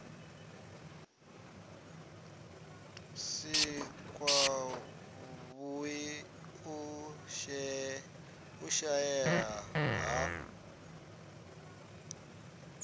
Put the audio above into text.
si kwavhui u shaea ha